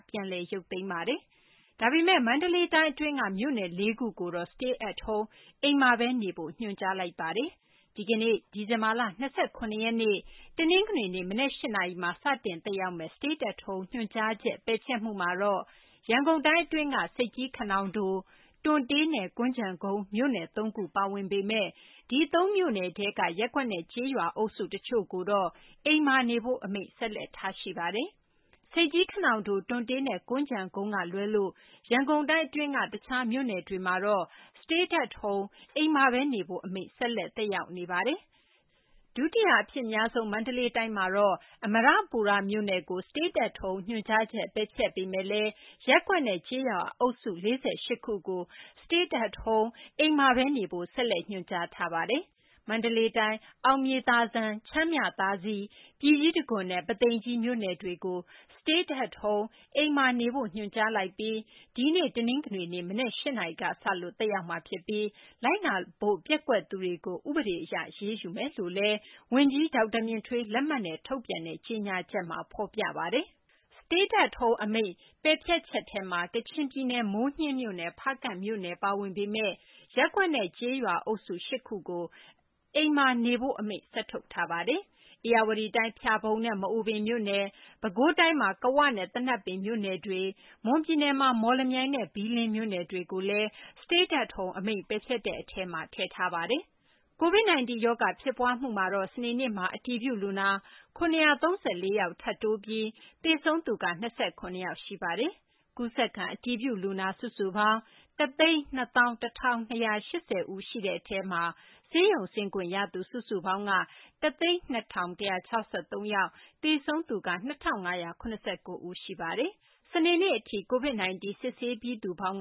ပြန်လည်ရုပ်သိမ်းလိုက်ပ ဒါပေမယ့် မန္တလေးတိုင်း အတွင်းက မြို့နယ် ၄ ခုကိုတော့ Stay at Home အိမ်မှာပဲနေဖို့ ညွှန်ကြားထားပါတယ်။ ဒီကနေ့ ဒီဇင်ဘာလ ၂၇ ရက်နေ့ တနင်္ဂနွေနေ့ မနက် ၈ နာရီမှာ စတင်သက်ရောက်မယ့် Stay at Home ညွှန်ကြားချက် ပယ်ဖျက်မှုမှာတော့ ရန်ကုန်တိုင်းအတွင်းက ဆိပ်ကြီး/ခနောင်တို၊ တွံတေးနဲ့ ကွမ်းခြံကုန်းမြို့နယ် သုံးခု ပါဝင်ပေမယ့် ဒီ ၃ မြို့နယ်ထဲက ရပ်ကွက်နဲ့ ကျေးရွာအုပ်စု တချို့ကိုတော့ အိမ်မှာနေဖို့ Stay at Home အမိန့် ဆက်လက်ထားရှိပါတယ်။ ဆိပ်ကြီး/ခနောင်တို၊ တွံတေးနဲ့ ကွမ်းခြံကုန်းကလွဲလို့ ရန်ကုန်တိုင်း တခြားမြို့နယ်တွေကတော့ Stay at Home အိမ်မှာပဲနေဖို့အမိန့် ဆက်လက် သက်ရောက်မှု ရှိပါတယ်။ ဒုတိယအဖြစ်အများဆုံး မန္တလေးတိုင်းမှာတော့ အမရပူရမြို့နယ်ကို Stay at Home ညွှန်ကြားချက် ပယ်ဖျက်ပေမယ့်လည်း ရပ်ကွက်နဲ့ ကျေးရွာအုပ်စု ၄၈ ခုကို Stay at Home အိမ်မှာပဲနေဖို့ ဆက်လက်ညွှန်ကြားထားပါတယ်။ မန္တလေးတိုင်း အတွင်းက အောင်မြေသာစံ၊ ချမ်းမြသာစည်၊ ပြည်ကြီးတံခွန်နဲ့ ပုသိမ်ကြီးမြို့နယ်တွေကိုတော့ Stay at Home အိမ်မှာနေဖို့ ညွှန်ကြားလိုက်ပြီး ဒီနေ့ တနင်္ဂနွေနေ့ မနက် ၈ နာရီကစလို့ သက်ရောက်မှာဖြစ်ပြီး လိုက်နာဖို့ ပျက်ကွက်သူတွေကို ဥပဒေအရ အရေးယူမယ်လို့လည်း ဝန်ကြီး ဒေါက်တာမြင့်ထွေး လက်မှတ်နဲ့ ထုတ်ပြန်တဲ့ ကြေညာချက်မှာ ဖော်ပြပါတယ်။ Stay at Home အမိန့် ပယ်ဖျက်ချက်ထဲမှာ ကချင်ပြည်နယ် မိုးညှင်းမြို့နယ်၊ ဖားကန့်မြို့နယ် ပါဝင်ပေမယ့် ရပ်ကွက်နဲ့ ကျေးရွာအုပ်စု ၈ ခုကို အိမ်မှာနေဖို့ အမိန့် ဆက်ထုတ်ထားပါတယ်။ ဧရာဝတီတိုင်း ဖျာပုံနဲ့ မအူပင်မြို့နယ်၊ ပဲခူးတိုင်းမှာ ကဝနဲ့ သနပ်ပင်မြို့နယ်တွေ၊ မွန်ပြည်နယ်မှာ မော်လမြိုင်နဲ့ ဘီးလင်းမြို့နယ်တွေကိုလည်း Stay at Home အမိန့် ပယ်ဖျက်တဲ့အထဲမှာ ပါဝင်ပါတယ်။ COVID-19 ရောဂါ ဖြစ်ပွားမှုမှာတော့ စနေနေ့မှာ အတည်ပြုလူနာ ၇၃၄ ယောက် ထပ်တိုးပြီး သေဆုံးသူက ၂၇ ယောက် ရှိပါတယ်။ ကူးစက်ခံ အတည်ပြုလူနာ စုစုပေါင်း ၁၂၁,၂၈၀ ယောက် ရှိတဲ့အထဲမှာ ဆေးရုံဆင်းခွင့် ရသူ စုစုပေါင်း ၁၀၂,၁၆၃ ယောက်၊ သေဆုံးသူ ၂,၅၇၉ ယောက် ရှိပါတယ်။ စနေနေ့အထိ ကိုဗစ် စစ်ဆေးပြီးသူပေါင်း